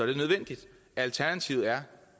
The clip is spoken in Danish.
det nødvendigt alternativet er